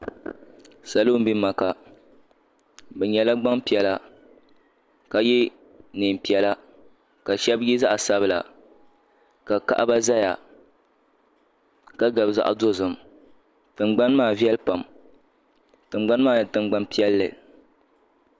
Salo n bɛ maka bi nyɛla gbanpiɛla ka yɛ niɛn piɛla ka shɛba yɛ zaɣa sabila ka kaɣaba zaya ka gabi zaɣa dozim tingbani maa viɛlli pam tingbani maa nyɛ tingbani piɛlli.